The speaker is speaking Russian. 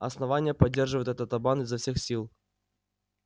основание поддерживает этот обман изо всех сил